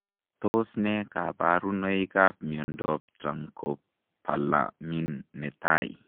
Tos nee kabarunoik ap miondop Tirancopalamin netai?